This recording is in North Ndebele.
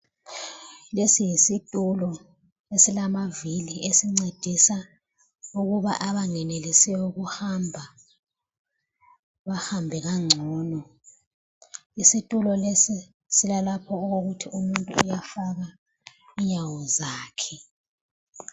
Lesi yisitulo esilamavili esincedisa ukuba abangenelisiyo ukuhamba bahambe kangcono. Isitulo lesi silalapho okokuthi umuntu uyafaka inyawo zakhe.